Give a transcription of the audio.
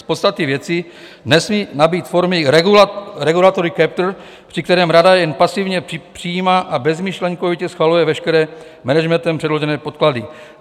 Z podstaty věci nesmí nabýt formy regulatory capture, při které rada jen pasivně přijímá a bezmyšlenkovitě schvaluje veškeré managementem předložené podklady.